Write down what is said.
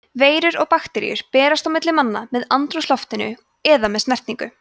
veirur og bakteríur berast á milli manna með andrúmsloftinu eða með snertingu